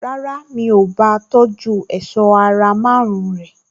Rárá, mi ò bá a tọjú èṣọ́ ara márùn-ún rẹ̀